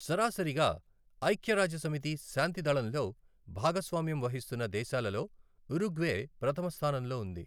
సరాసరిగా ఐఖ్యరాజ్య సమితి శాంతి దళంలో భాగస్వామ్యం వహిస్తున్న దేశాలలో ఉరుగ్వే ప్రధమస్థానంలో ఉంది.